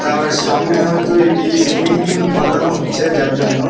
তার সামনে হয়তো এটি সুইমিং পুল বানানো হচ্ছে যার জন্য--